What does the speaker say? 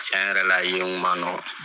Cɛn yɛrɛ la yen kun man nɔgɔn.